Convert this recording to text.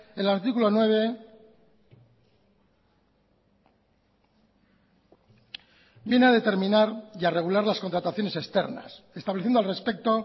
el artículo nueve viene a determinar y a regular las contrataciones externas estableciendo al respecto